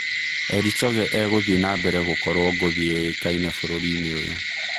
" Eli Choge e-gũthiĩ nambere gũkorwo ngũthi yũĩkaine bũrũri-inĩ ũyũ.